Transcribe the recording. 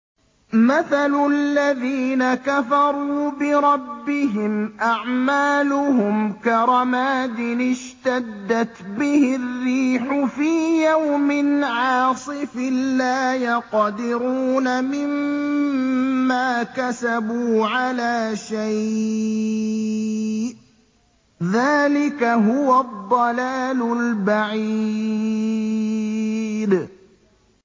مَّثَلُ الَّذِينَ كَفَرُوا بِرَبِّهِمْ ۖ أَعْمَالُهُمْ كَرَمَادٍ اشْتَدَّتْ بِهِ الرِّيحُ فِي يَوْمٍ عَاصِفٍ ۖ لَّا يَقْدِرُونَ مِمَّا كَسَبُوا عَلَىٰ شَيْءٍ ۚ ذَٰلِكَ هُوَ الضَّلَالُ الْبَعِيدُ